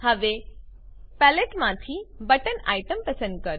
હવે પેલેટમાંથી button item પસંદ કરો